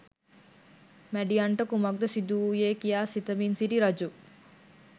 මැඩියන්ට කුමක්ද සිදුවූයේ කියා සිතමින් සිටි රජු